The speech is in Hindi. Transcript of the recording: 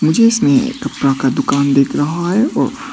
मुझे इसमें कपड़ा का दुकान दिख रहा है और--